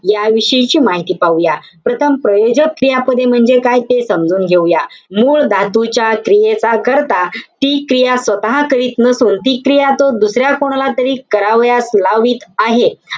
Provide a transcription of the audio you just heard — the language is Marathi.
याविषयीची माहिती पाहूया. प्रथम प्रयोजक क्रियापदे म्हणजे काय, ते समजून घेऊया. मूळ धातूच्या क्रियेचा कर्ता ती क्रिया स्वतः करत नसून, ती क्रिया तो दुसऱ्या कोणाला तरी करावयास लावित आहे.